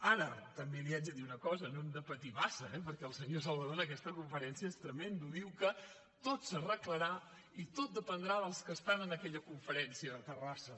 ara també li haig de dir una cosa no hem de patir massa eh perquè el senyor salvadó en aquesta conferència és tremend diu que tot s’arreglarà i tot dependrà dels que estan en aquella conferència a terrassa